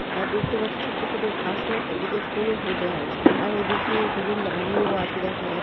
আর দেখতে পাচ্ছ ছোট্ট ছোট্ট ঘাসও এদিকে ফুলও ফুটে আছে আর ওদিকে দুজন দাঁড়িয়েও আছে দেখা যা--